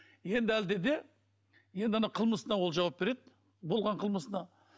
енді әлде де енді ана қылмысына ол жауап береді болған қылмысына